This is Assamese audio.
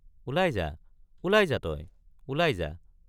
ওলাই যা—ওলাই যা তই—ওলাই যা।